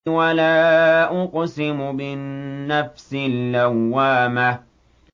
وَلَا أُقْسِمُ بِالنَّفْسِ اللَّوَّامَةِ